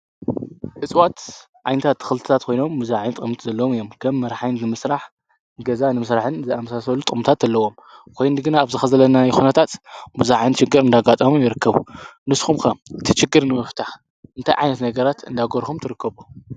እፅዋት ዓይነታት ተክታት ኮይኖም ብዙሓት ጠቅምታት ዘለዎም እዮም። ከም መድሓኒት ንምስራሕ፣ ገዛ ንምስራሕን ዝኣምሳሰሉ ጥቅምታት ኣለዎም፡፡ ኮይኑ ግና ኣብዚ ከዚ ዘለናዮ ኩነታት ብዙሕ ዓይነት ሽግር እናጋጠሞም ይርከብ፡፡ ንስኩም ከ ነቲ ሽግር ንምፍታሕ እንታይ ዓይነት ነገራት እናገበርኩም ትርከቡ?